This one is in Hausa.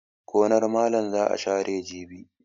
Gonar malam za a share jibi.